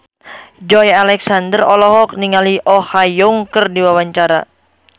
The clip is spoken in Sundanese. Joey Alexander olohok ningali Oh Ha Young keur diwawancara